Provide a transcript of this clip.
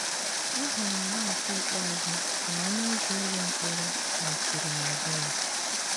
Ahụrụ m ya nke ikpeazụ ka ọnụ ụzọ ụlọ mkpọrọ mechiri n'azụ ya.